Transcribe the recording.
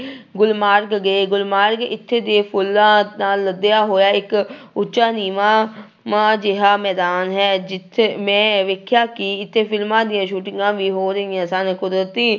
ਗੁਲਮਾਰਗ ਗਏ, ਗੁਲਮਾਰਗ ਇੱਥੇ ਦੇ ਫੁੱਲਾਂ ਨਾਲ ਲੱਦਿਆ ਹੋਇਆ ਇੱਕ ਉੱਚਾ ਨੀਵਾਂ ਵਾਂ ਜਿਹਾ ਮੈਦਾਨ ਹੈ ਜਿੱਥੇ, ਮੈਂ ਵੇਖਿਆ ਕਿ ਇੱਥੇ ਫਿਲਮਾਂ ਦੀਆਂ ਸੂਟਿੰਗਾਂ ਵੀ ਹੋ ਰਹੀਆਂ ਸਨ ਕੁਦਰਤੀ